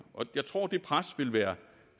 og jeg tror det pres vil være